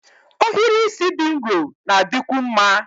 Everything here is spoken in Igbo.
Ohiri isi dị nro na-adịkwu mma